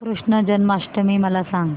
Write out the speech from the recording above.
कृष्ण जन्माष्टमी मला सांग